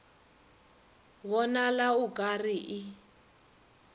bonala o ka re e